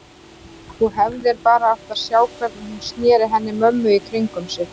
Þú hefðir bara átt að sjá hvernig hún sneri henni mömmu í kringum sig.